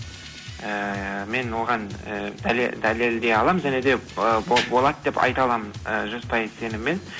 ііі мен оған і дәлелдей аламын және де і болады деп айта аламын і жүз пайыз сеніммен